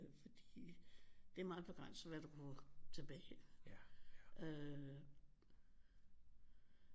Fordi det er meget begrænset hvad du kunne tilbage øh